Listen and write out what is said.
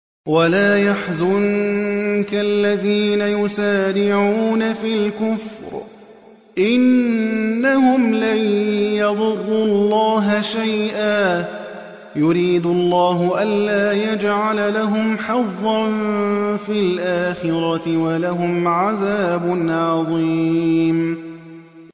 وَلَا يَحْزُنكَ الَّذِينَ يُسَارِعُونَ فِي الْكُفْرِ ۚ إِنَّهُمْ لَن يَضُرُّوا اللَّهَ شَيْئًا ۗ يُرِيدُ اللَّهُ أَلَّا يَجْعَلَ لَهُمْ حَظًّا فِي الْآخِرَةِ ۖ وَلَهُمْ عَذَابٌ عَظِيمٌ